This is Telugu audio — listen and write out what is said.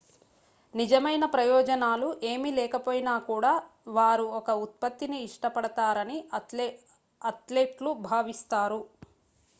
నిజమైన ప్రయోజనాలు ఏమి లేకపోయినాకూడా వారు ఒక ఉత్పత్తిని ఇష్టపడతారని అథ్లెట్లు భావిస్తారు